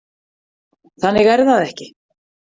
Þannig er það ekki.